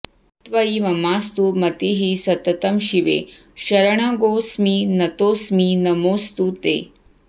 त्वयि ममास्तु मतिः सततं शिवे शरणगोऽस्मि नतोऽस्मि नमोऽस्तु ते